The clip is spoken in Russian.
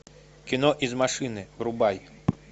кино из машины врубай